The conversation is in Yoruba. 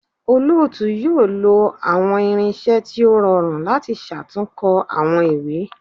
Olootu yoo lo awọn irinṣẹ ti o rọrun lati ṣatunkọ awọn iwe